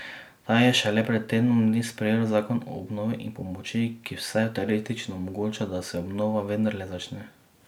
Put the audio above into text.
Ta je šele pred tednom dni sprejel zakon o obnovi in pomoči, ki, vsaj teoretično, omogoča, da se obnova vendarle začne.